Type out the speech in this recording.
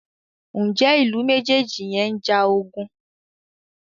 Njé Ilú mejeji yén njà ogun?